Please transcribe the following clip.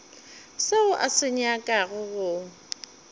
seo a se nyakago go